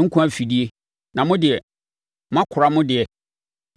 nkwa afidie, na mo deɛ, moakora mo deɛ?